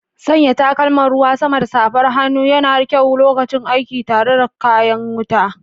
Sanya takalman ruwan sama da safar hannu yana da kyau lokacin aiki tare da kayan wuta.